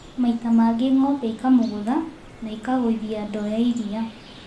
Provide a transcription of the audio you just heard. Maita mangĩ ng'ombe ĩkamũgũtha na ĩkagũithia ndoo ya iria.